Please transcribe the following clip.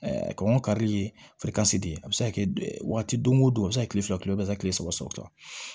kɔngɔ karili ye de a bɛ se ka kɛ waati don o don a bɛ se ka kile fila kile bɛ se ka kile saba o ta